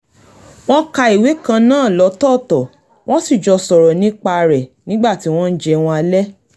wọ́n ka ìwé kan náà lọ́tọ́ọ̀tọ̀ wọ́n sì jọ sọ̀rọ̀ nípa rẹ̀ nígbà tí wọ́n ń jẹun alẹ́